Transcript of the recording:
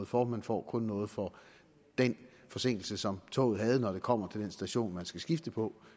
for man får kun noget for den forsinkelse som toget har når det kommer til den station man skal skifte på